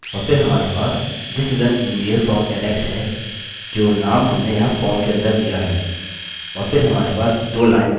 और फिर हमारे पास this is an email from alex है जो नाम हमने यहाँ फार्म के अंदर दिया है